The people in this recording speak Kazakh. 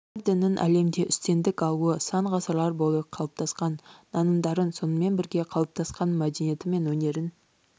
бір діннің әлемде үстемдік алуы сан ғасырлар бойы қалыптасқан нанымдарын сонымен бірге қалыптасқан мәдениеті мен өнерін